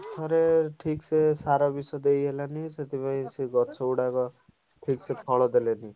ଆର ଥରେ ଠିକସେ ସାର ବିଷ ଦେଇହେଲାନି ସେ ଗଛ ଗୁଡାକ ଠିକ୍ ସେ ଫଳ ଦେଲେନି।